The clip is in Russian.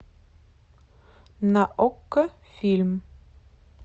на окко фильм